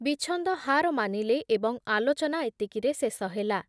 ବିଚ୍ଛନ୍ଦ ହାର ମାନିଲେ ଏବଂ ଆଲୋଚନା ଏତିକିରେ ଶେଷ ହେଲା ।